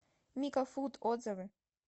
микафуд отзывы